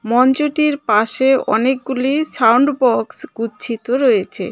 মঞ্চটির পাশে অনেকগুলি sound box গুচ্ছিত রয়েছে.